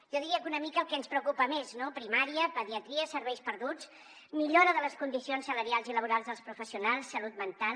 jo diria que una mica el que ens preocupa més primària pediatria serveis perduts millora de les condicions salarials i laborals dels professionals salut mental